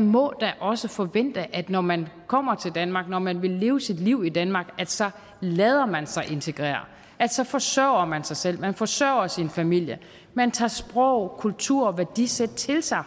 må da også forvente at når man kommer til danmark når man vil leve sit liv i danmark så lader man sig integrere så forsørger man sig selv man forsørger sin familie man tager sproget kulturen og værdisættet til sig